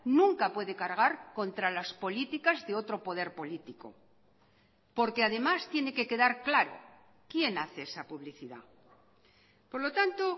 nunca puede cargar contra las políticas de otro poder político porque además tiene que quedar claro quién hace esa publicidad por lo tanto